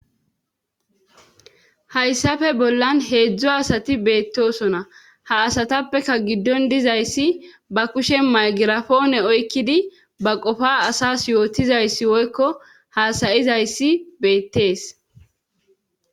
Hayssafe bollan heedzdzo asati beettosona ha asatappeka giddon dizayssi ba kushe magirafoone oykkidi ba qofa asas yootizayssi woykko haasayizayssi beettees.